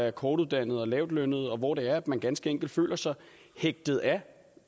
af kortuddannede og lavtlønnede og hvor det er man ganske enkelt føler sig hægtet af